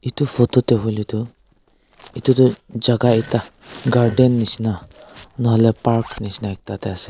etu photo te huile tu etu tu jaga ekta garden nishena nahoile park nishena ekta de ase.